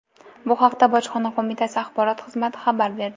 Bu haqda bojxona qo‘mitasi axborot xizmati xabar berdi.